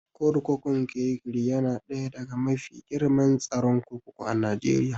Kurkukun Kirikiri yana ɗaya daga mafi girman tsaron kurkuku a Najeriya